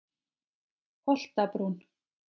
Holtabrún